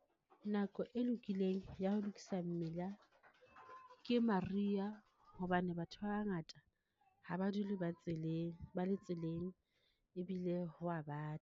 Nako e lokileng ya ho lokisa mmila, ke mariha hobane batho ba bangata ha ba dule ba tseleng, ba le tseleng ebile ho wa bata.